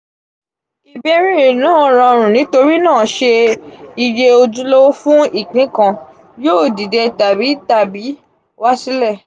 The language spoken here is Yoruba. ibeere naa rọrun nitorinaa ṣe iye ojulowo fun ipin kan yoo dide tabi tabi wa sile?